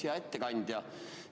Hea ettekandja!